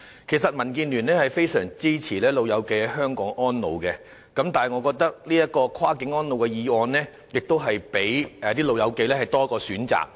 其實民建聯非常支持長者在香港安老，但我認為這項議案可讓長者有多一個選擇。